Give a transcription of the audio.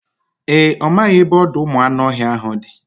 Ee, ọ maghị ebe ọdọụmụanụọhịa ahụ dị